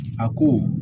A ko